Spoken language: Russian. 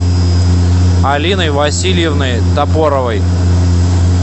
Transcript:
алиной васильевной топоровой